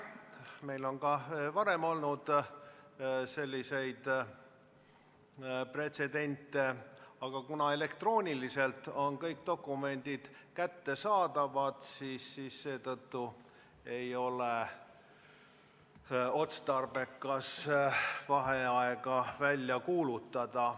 Meil on ka varem olnud selliseid pretsedente, aga kuna elektrooniliselt on kõik dokumendid kättesaadavad, ei ole otstarbekas vaheaega välja kuulutada.